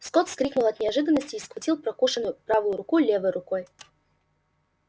скотт вскрикнул от неожиданности и схватил прокушенную правую руку левой рукой